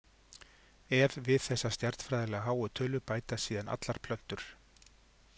Ef við þessa stjarnfræðilega háu tölu bætast síðan allar plöntur.